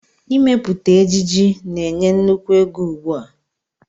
Ịmepụta ejiji na-enye nnukwu ego ugbu a